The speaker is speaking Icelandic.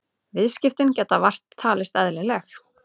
Viðskiptin geta vart talist eðlileg